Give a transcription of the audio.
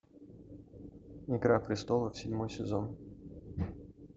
игра престолов седьмой сезон